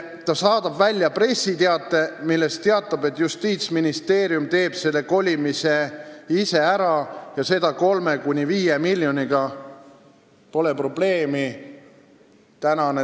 Ta saadab välja pressiteate, milles teatab, et Justiitsministeerium teeb selle kolimise ise ära ja seda 3–5 miljoniga – pole probleemi.